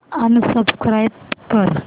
unsubscribe कर